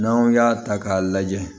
N'anw y'a ta k'a lajɛ